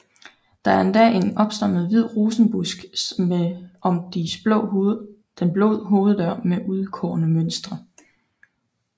Der er endda en opstammet hvid rosenbusk om den blå hoveddør med udskårne mønstre